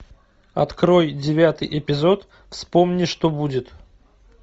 открой девятый эпизод вспомни что будет